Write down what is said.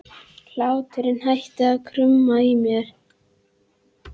Hláturinn hættir að krauma í mér.